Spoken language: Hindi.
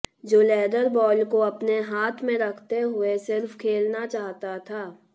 जो लेदर बॉल को अपने हाथ में रखते हुए सिर्फ खेलना चाहता था